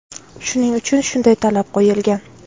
Shuning uchun shunday talab qo‘yilgan.